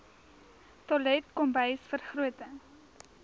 toilet kombuis vergroting